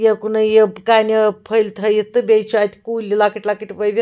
.یوٚکنےٕیِپ کنٮ۪ووفٔلۍتھٲیِتھ تہٕ بیٚیہِ چُھ اَتہِ کُلۍلۄکٕٹۍلۄکٕٹۍ